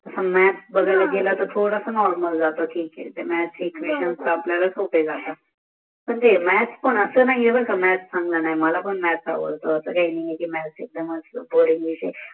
maths बघायला गेल तर थोडासा नॉर्मल दाखवते म्याथ एक्वेशन पण म्याथ पण अस नाही बर का म्याथ चंगळ नाही मलापण म्याथ आवडत